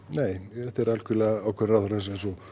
nei þetta er algjörlega ákvörðun ráðherrans eins og